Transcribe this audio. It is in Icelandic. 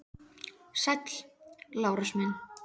Sæll, Lárus minn.